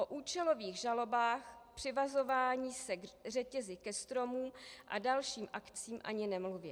O účelových žalobách, přivazování se řetězy ke stromům a dalších akcích ani nemluvě.